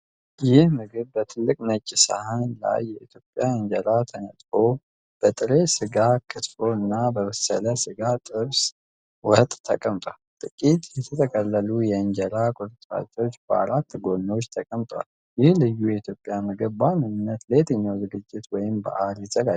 ይህ ምግብ በትልቅ ነጭ ሳህን ላይ የኢትዮጵያ እንጀራ ተነጥፎ፣ በጥሬ ሥጋ (ክትፎ) እና በበሰለ ሥጋ (ጥብስ/ቲብስ) ወጥ ተቀምጧል። ጥቂት የተጠቅለሉ የእንጀራ ቁርጥራጮች በአራት ጎኖች ተቀምጠዋል። ይህ ልዩ የኢትዮጵያ ምግብ በዋነኝነት ለየትኛው ዝግጅት ወይም በዓል ይዘጋጃል?